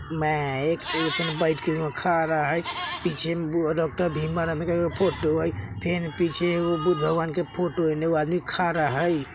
में पीछे डॉ भीमराव के अ फोटो हई फिर पीछे बुद्धा भगवान् के फोटो हई फिर एगो आदमी खड़ा हई।